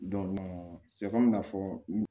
ka fɔ